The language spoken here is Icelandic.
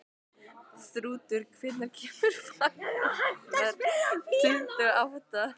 Þrútur, hvenær kemur vagn númer tuttugu og átta?